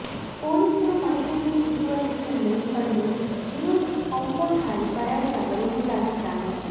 ಪೊಲೀಸರು ಮನೆಯನ್ನು ಸುತ್ತುವರೆದಿರುವುದನ್ನು ಕಂಡು ಯೂನುಸ್ ಕಾಂಪೌಂಡ್ ಹಾರಿ ಪರಾರಿಯಾಗಲು ಮುಂದಾಗಿದ್ದಾನೆ